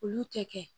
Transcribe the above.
Olu tɛ kɛ